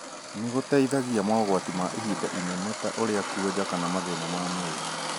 nĩ gũteithagia mogwati ma ihinda inene ta ũrĩa kwonja kana mathĩna ma mwĩrĩ